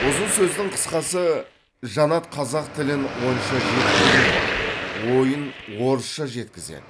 ұзын сөздің қысқасы жанат қазақ тілін онша жетік білмейді ойын орысша жеткізеді